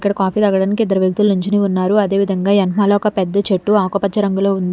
ఇక్కడ కాఫీ తాగడానికి ఇద్దరు వ్యక్తులు నుంచుని ఉన్నారు అదే విధంగా వెనకమాల ఒక పెద్ద చెట్టు ఆకు పచ్చ రంగులో ఉంది.